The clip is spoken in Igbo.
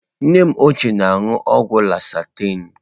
Nne m ochie na-aṅụ ọgwụ lọsahtanị.